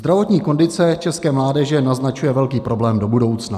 Zdravotní kondice české mládeže naznačuje velký problém do budoucna.